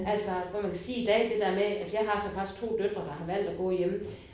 Altså hvor man kan sige i dag det der med altså jeg har så faktisk 2 døtre der har valgt at gå hjemme